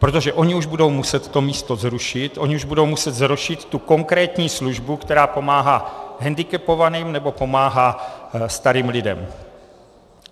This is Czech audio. Protože ony už budou muset to místo zrušit, ony už budou muset zrušit tu konkrétní službu, která pomáhá hendikepovaným nebo pomáhá starým lidem.